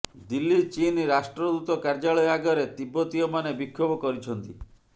ଦିଲ୍ଲୀ ଚୀନ୍ ରାଷ୍ଟ୍ରଦୂତ କାର୍ଯ୍ୟାଳୟ ଆଗରେ ତିବ୍ଦତୀୟମାନେ ବିକ୍ଷୋଭ କରିଛନ୍ତି